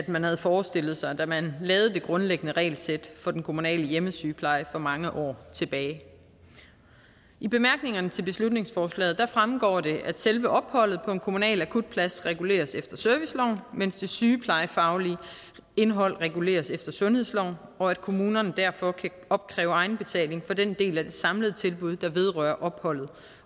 man havde forestillet sig da man lavede det grundlæggende regelsæt for den kommunale hjemmesygepleje for mange år tilbage i bemærkningerne til beslutningsforslaget fremgår det at selve opholdet på en kommunal akutplads reguleres efter serviceloven mens det sygeplejefaglige indhold reguleres efter sundhedsloven og at kommunerne derfor kan opkræve egenbetaling for den del af det samlede tilbud der vedrører opholdet